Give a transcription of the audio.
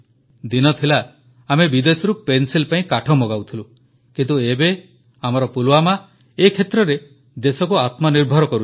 ଦିନ ଥିଲା ଆମେ ବିଦେଶରୁ ପେନସିଲ୍ ପାଇଁ କାଠ ମଗାଉଥିଲୁ କିନ୍ତୁ ଏବେ ଆମର ପୁଲୱାମା ଏ କ୍ଷେତ୍ରରେ ଦେଶକୁ ଆତ୍ମନିର୍ଭର କରୁଛି